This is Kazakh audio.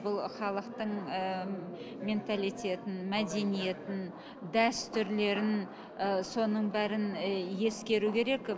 бұл халықтың ыыы менталитетін мәдениетін дәстүрлерін ы соның бәрін ы ескеру керек